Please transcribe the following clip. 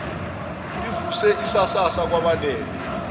ivuse isasasa kwabalalele